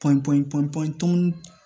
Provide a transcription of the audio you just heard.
Pɔn pɔn pɔnpan